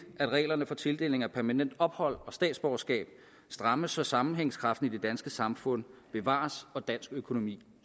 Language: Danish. at reglerne for tildeling af permanent ophold og statsborgerskab strammes så sammenhængskraften i det danske samfund bevares og dansk økonomi